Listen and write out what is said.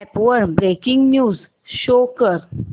app वर breaking news show कर